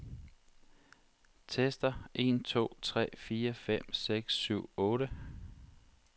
Tester en to tre fire fem seks syv otte.